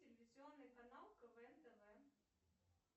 телевизионный канал квн тв